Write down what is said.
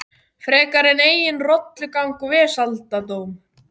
Frekar en eigin rolugang og vesaldóm.